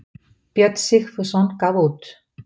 Björn Sigfússon gaf út.